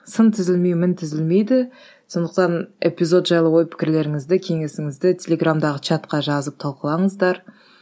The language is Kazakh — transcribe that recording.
сын түзілмей мін түзілмейді сондықтан эпизод жайлы ой пікірлеріңізді кеңесіңізді телеграмдағы чатқа жазып талқылаңыздар